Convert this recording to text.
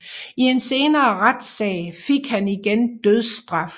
I en senere retssag fik han igen dødsstraf